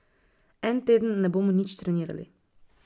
En teden ne bomo nič trenirali.